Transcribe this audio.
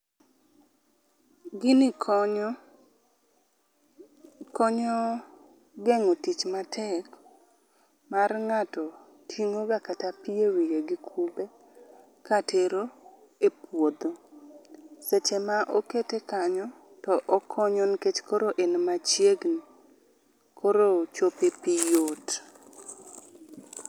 Gini konyo ,konyo gengo tich matek mar ngato tingo ga kata pii ewiye gi kube katero e puodho. Seche ma okete kanyo okonyo nikech koro en machiegni koro chopo e pii yot